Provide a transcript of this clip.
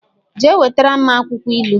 Jee wetara m akwukwo ilu!